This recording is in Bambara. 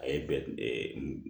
A ye bɛ